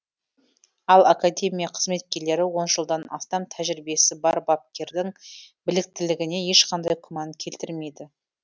ал академия қызметкерлері он жылдан астам тәжірибесі бар бапкердің біліктілігіне ешқандай күмән келтірмейді